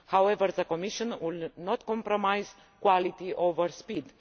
However, the Commission will not compromise quality over speed.